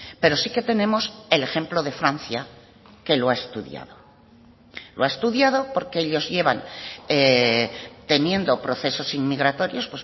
pero sí que tenemos el ejemplo de francia que lo ha estudiado lo ha estudiado porque ellos llevan teniendo procesos inmigratorios